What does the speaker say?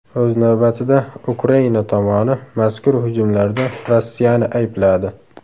O‘z navbatida, Ukraina tomoni mazkur hujumlarda Rossiyani aybladi .